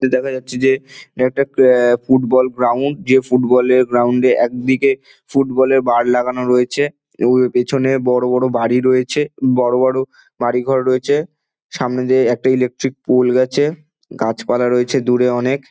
এনে দেখা যাচ্ছে যে অ্যা একটা ক্র্যা ফুটবল গ্রাউন্ড যে ফুটবল এর গ্রাউন্ড এ একদিকে ফুটবল এর বার লাগানো রয়েছে এবং পিছনে বড় বড় বাড়ি রয়েছে বড় বড় বাড়িঘর রয়েছে সামনে একটা ইলেকট্রিক পোল গেছে গাছপালা রয়েছে অনেক।